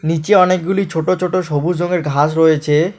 নিচে অনেকগুলি ছোট ছোট সবুজ রঙের ঘাস রয়েচে-এ।